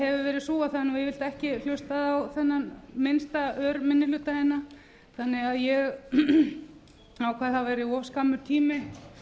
hefur verið sú að það er yfirleitt ekki hlustað á þennan minnsta örminnihluta hérna þannig að ég ákvað að það væri of skammur tími